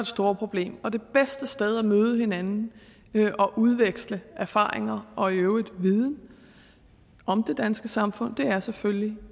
store problem og det bedste sted at møde hinanden og udveksle erfaringer og i øvrigt viden om det danske samfund er selvfølgelig